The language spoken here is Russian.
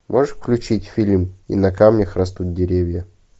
можешь включить фильм и на камнях растут деревья